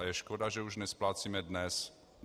A je škoda, že už nesplácíme dnes.